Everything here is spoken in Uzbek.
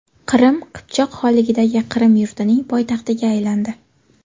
Qrim – Qipchoq xonligidagi Qrim yurtining poytaxtiga aylandi.